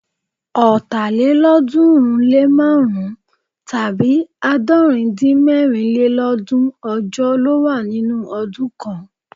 Ọ̀tàlélọ́ọ̀dúnrúnlémárùn-rún tàbí àádọ́rindínmẹ́rinlélọ́ọ̀dúún ọjọ́ ló wà nínú ọdún kan